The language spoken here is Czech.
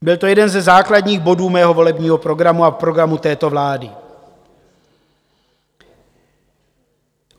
Byl to jeden ze základních bodů mého volebního programu a programu této vlády.